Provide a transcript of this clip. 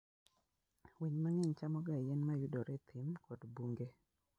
Winy mang'eny chamoga yien ma yudore e thim kod bunge.